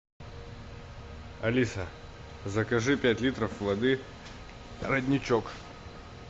алиса закажи пять литров воды родничок